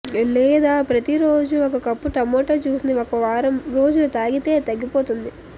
లేదా ప్రతిరోజూ ఒక కప్పు టమోటా జ్యూస్ ని ఒకవారం రోజులు తాగితే తగ్గిపోతుంది